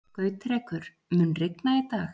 Gautrekur, mun rigna í dag?